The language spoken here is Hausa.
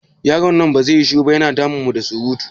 Yaron nan ba zai yi shiru ba? Ya na damun mu da surutu.